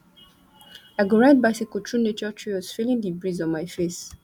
i go ride bicycle through nature trails feeling di breeze on my face